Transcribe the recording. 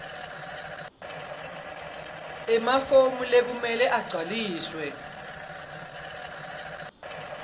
emafomu lekumele agcwaliswe